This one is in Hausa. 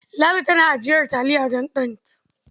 Ladi tana ajiyar taliya don ɗant.